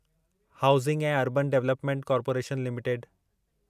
housing ऐं urban development corporation limited